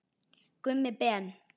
Gummi Ben.